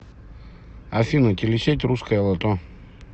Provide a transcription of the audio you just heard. афина телесеть русское лото